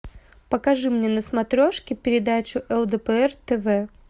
покажи мне на смотрешке передачу лдпр тв